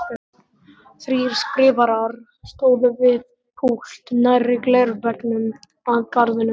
Þrír skrifarar stóðu við púlt nærri glerveggnum að garðinum.